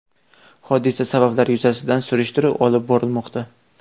Hodisa sabablari yuzasidan surishtiruv olib borilmoqda.